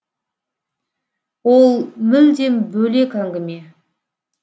ол мүлдем бөлек әңгіме